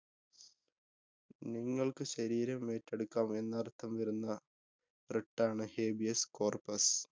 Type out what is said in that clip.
നിങ്ങള്‍ക്ക് ശരീരം ഏറ്റെടുക്കാം എന്നര്‍ത്ഥം വരുന്ന writ ആണ്, Habeas Corpus.